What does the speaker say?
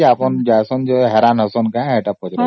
ଯେ ଆପଣ ଯାଆନ୍ତି ଯେ ହଇରାଣ ହୁଅନ୍ତି କି ବୋଲି